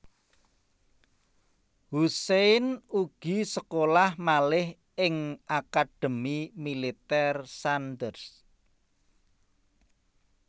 Hussein ugi sekolah malih ing Akademi Militèr Sandhurst